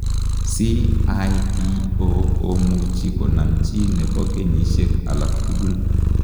CIPO komuchii konam chii nepoo kenyisiek alaak tugul.